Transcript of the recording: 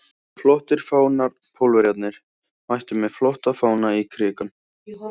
Flottir fánar Pólverjarnir mættu með flotta fána í Krikann.